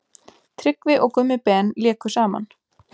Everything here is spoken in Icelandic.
Tryggvi og Gummi Ben léku saman.